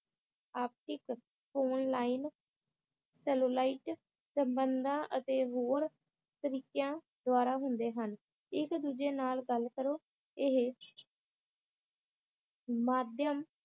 ਆਪਸੀ ਕ~ ਫੋਨਲੀਨ, ਸੈਲੂਲਾਈਟ, ਸੰਬੰਧਾਂ ਅਤੇ ਹੋਰ ਤਰੀਕਿਆਂ ਦਵਾਰਾ ਹੁੰਦੇ ਹਨ ਇਕ ਦੂਜੇ ਨਾਲ ਗੱਲ ਕਰੋ ਇਹ ਮਾਧਿਅਮ